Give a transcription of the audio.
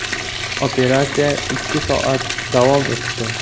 Operatsiya ikki soat davom etdi.